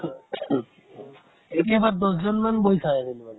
কেতিয়াবা দশ জনমান বহি চাই আছিলো মানে